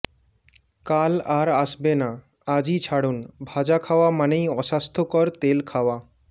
কাল আর আসবে না আজই ছাড়ুন ভাজা খাওয়া মানেই অস্বাস্থ্যকর তেল খাওয়া